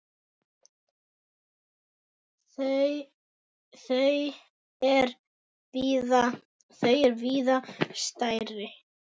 Þau er víða stærri.